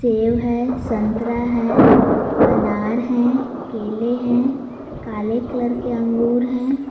सेब है संतरा है अनार है केले हैं काले कलर के अंगूर हैं।